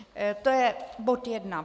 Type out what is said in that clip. To je bod jedna.